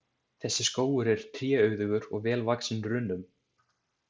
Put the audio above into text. Þessi skógur er tréauðugur og vel vaxinn runnum.